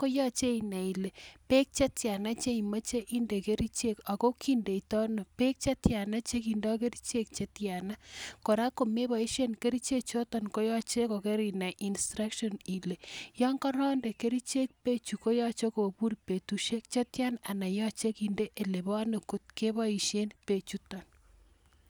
koyache inae ileee peek chetyaaa chekindaii kerchechuuu akot Kora ako magat inai Ile kericheek aichon cheimeche indeed kericheeek akoyache inai(instructions) chekipaisheee Eng yotok